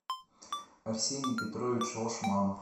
арсений петрович лашманов